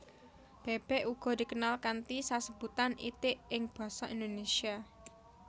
Bèbèk uga dikenal kanthi sesebutan itik ing basa Indonésia